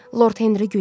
Lord Henri güldü.